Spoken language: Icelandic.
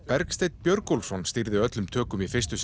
Bergsteinn Björgólfsson stýrði öllum tökum í fyrstu